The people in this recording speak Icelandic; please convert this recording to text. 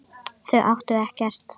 Þau áttu ekkert.